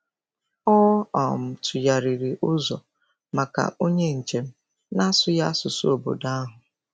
Ọ um tụgharịrị ụzọ maka onye njem na-asụghị asụsụ obodo ahụ.